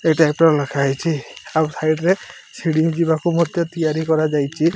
ଏଇ ଟାଇପ୍ ର ଲେଖା ହୋଇଚି। ଆଉ ସାଇଟ ରେ ସିଡି ଯିବାକୁ ମଧ୍ୟ ତିଆରି କରାଯାଇଚି।